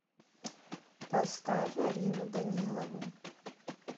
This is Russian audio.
поставь арину данилову